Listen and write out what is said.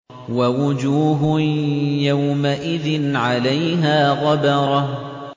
وَوُجُوهٌ يَوْمَئِذٍ عَلَيْهَا غَبَرَةٌ